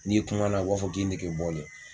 N'i kumana u b'a fɔ k'i negebɔlen bɔlen.